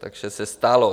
Takže se stalo.